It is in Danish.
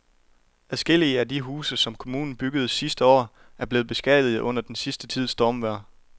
Adskillige af de huse, som kommunen byggede sidste år, er blevet beskadiget under den sidste tids stormvejr.